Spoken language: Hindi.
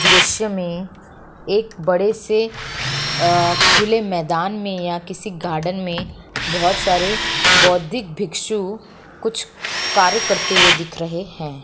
दृष्य मे एक बड़े से आ-खुले मेदान मे या किसी गार्डेन मे बहोत सारे बोधिक भिक्षु कुछ कार्य करते हुए दिख रहे हैं ।